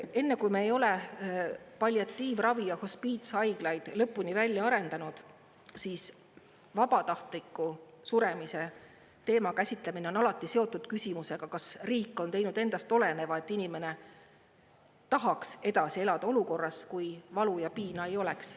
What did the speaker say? Et enne, kui me ei ole palliatiivravi ja hospiitshaiglaid lõpuni välja arendanud, siis vabatahtliku suremise teema käsitlemine on alati seotud küsimusega, kas riik on teinud endast oleneva, et inimene tahaks edasi elada olukorras, kui valu ja piina ei oleks.